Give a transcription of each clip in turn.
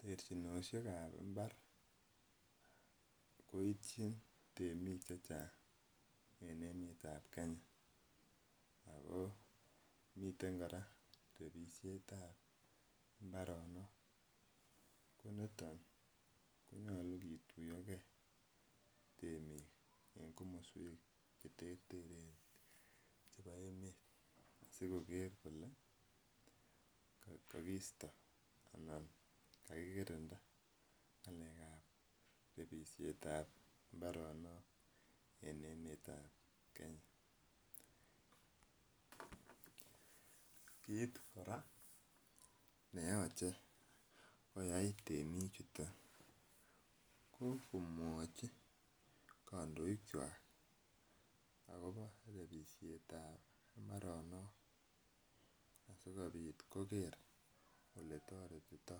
Techinisiek kab imbar koitien temik chechang en emeetab Kenya Ako miten kora rebisietab imbaronok, konito nyalu kitoyoge en kamasuek cheterteren sikoker kole kakisto anan kakikirinda rebisietab imbaronok en emetab Kenya. Kiit kora koyait temik chuton, akomwachi akobo rebisietab imbaronok asikobit koker oletaretito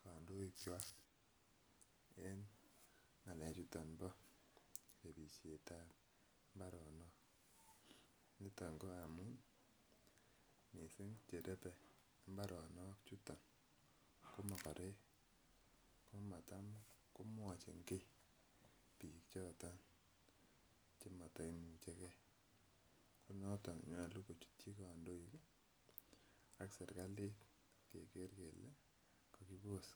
kandoikkwak en ng'alek chuton rebisietab imbaronok niton ko amuun cherebe imbaronok chuton ko makarek komatam komwachi ki bichuton ak serkali keker kele kakibos .